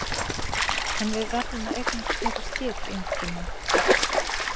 En við verðum að eignast fleiri skip Jónki minn.